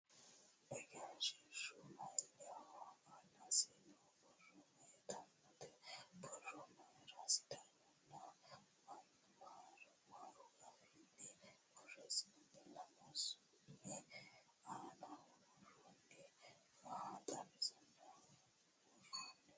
Egensiishshu mayiinniho? Aanasi noo borro mayitaawote? Borro mayiira sidaamu nna amaaru afiinni borreessinoyi? Lamu sumu aanaho worroyihu maa xawisara worroyiho?